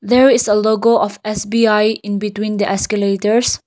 there is a logo of S_B_I in between the escalators.